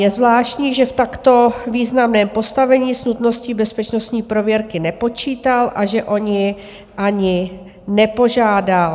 Je zvláštní, že v takto významném postavení s nutností bezpečnostní prověrky nepočítal a že o ni ani nepožádal.